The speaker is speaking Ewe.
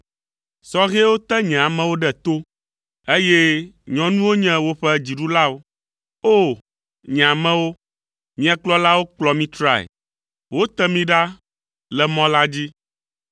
Sɔhɛwo te nye amewo ɖe to, eye nyɔnuwo nye woƒe dziɖulawo. O! Nye amewo, mia kplɔlawo kplɔ mi trae, wote mi ɖa le mɔ la dzi.